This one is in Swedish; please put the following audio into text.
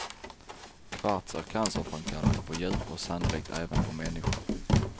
Kvarts är cancerframkallande på djur och sannolikt även på människa.